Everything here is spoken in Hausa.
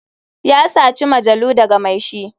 Ya saci majalu daga mai shi.